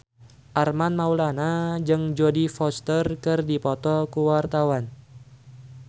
Armand Maulana jeung Jodie Foster keur dipoto ku wartawan